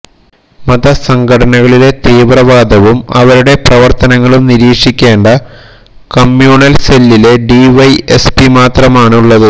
മതസംഘടനകളിലെ തീവ്രവാദവും അവരുടെ പ്രവര്ത്തനങ്ങളും നിരീക്ഷിക്കേണ്ട കമ്മ്യൂണല് സെല്ലില് ഡിവൈഎസ്പി മാത്രമാണ് ഉള്ളത്